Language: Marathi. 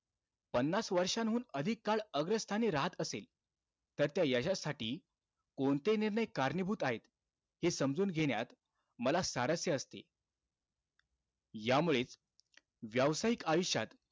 पन्नास वर्षांहून अधिक काळ अग्रस्थानी राहत असेल, तर त्या यशासाठी कोणते निर्णय कारणीभूत आहेत? हे समजून घेण्यात मला सारस्य असते. यामुळेचं व्यावसायिक आयुष्यात,